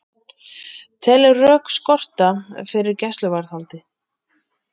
Telur rök skorta fyrir gæsluvarðhaldi